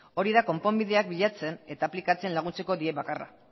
hori da konponbideak bilatzen eta aplikatzen laguntzeko diren bakarra